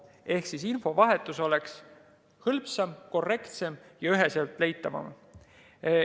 Ehk infovahetus oleks hõlpsam, korrektsem ja info üheselt leitav.